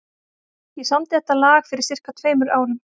Ég samdi þetta lag fyrir sirka tveimur árum.